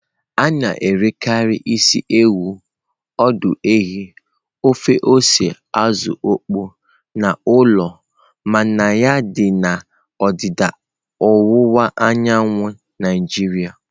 A na-erekarị isi ewu, ọdụ ehi, ofe ose azụ okpo n'ụlọ mmanya dị na ndịda ọwụwa anyanwụ Naijiria.